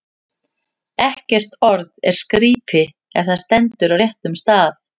Ekkert orð er skrípi, ef það stendur á réttum stað.